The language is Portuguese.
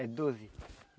É doze.